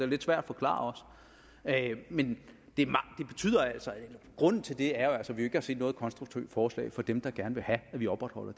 lidt svær at forklare men grunden til det er jo altså at vi ikke har set noget konstruktivt forslag fra dem der gerne vil have at vi opretholder